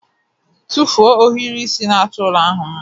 Tụfuo ohiri isi na-achọ ụlọ ahụ mma